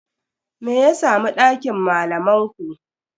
Me ya samu dakin malaman ku?